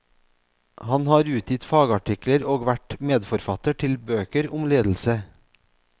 Han har utgitt fagartikler og vært medforfatter til bøker om ledelse.